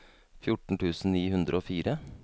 fjorten tusen ni hundre og fire